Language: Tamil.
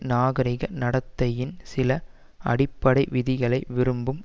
நாகரிக நடத்தையின் சில அடிப்படை விதிகளை விரும்பும்